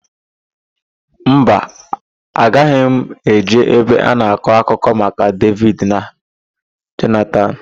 Mba, agaghị m eje ebe a na-akọ akụkọ maka Devid na Jonatan.